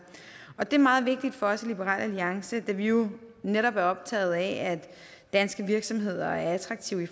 det er meget vigtigt for os i liberal alliance da vi jo netop er optaget af at danske virksomheder er attraktive